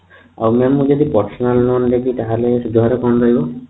mam ମୁଁ ଯଦି personal loan ନେବି ତାହାଲେ ସୁଧହାର କଣ ରହିବ